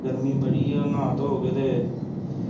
ਗਰਮੀ ਬੜੀ ਏ ਹੁਣ ਨਾਹ-ਧੋ ਕੇ ਤੇ।